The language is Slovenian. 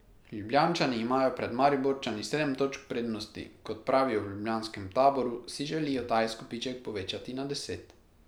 Ljubljančani imajo pred Mariborčani sedem točk prednosti, kot pravijo v ljubljanskem taboru, si želijo ta izkupiček povečati na deset.